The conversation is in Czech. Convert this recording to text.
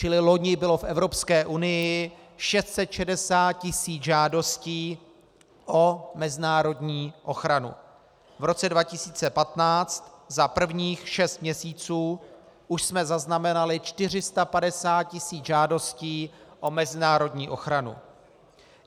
Čili loni bylo v Evropské unii 660 tisíc žádostí o mezinárodní ochranu, v roce 2015 za prvních šest měsíců už jsme zaznamenali 450 tisíc žádostí o mezinárodní ochranu.